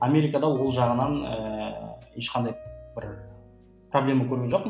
америкада ол жағынан ііі ешқандай бір проблема көрген жоқпын